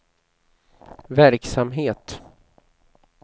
verksamhet